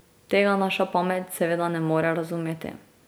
Tega naša pamet seveda ne more razumeti.